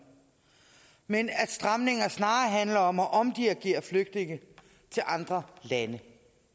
men at stramninger snarere handler om at omdirigere flygtninge til andre lande